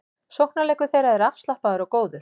Sóknarleikur þeirra er afslappaður og góður